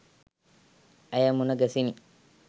ඇය මුණ ගැසිණි.